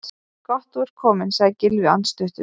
Gott þú ert kominn- sagði Gylfi andstuttur.